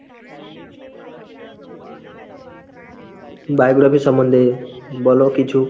biography র সম্বন্ধে বল কিছু।